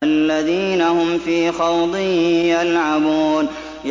الَّذِينَ هُمْ فِي خَوْضٍ يَلْعَبُونَ